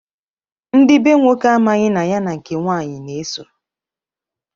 Ndị be nwoke amaghị na ya na nke nwanyị na-eso.